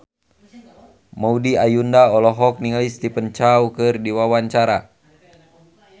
Maudy Ayunda olohok ningali Stephen Chow keur diwawancara